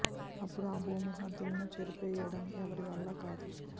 అప్పుడు ఆ భూమి హద్దులను చెరిపేయ డం ఎవరి వల్లా కాదు